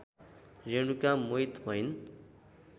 रेणुका मोहित भइन्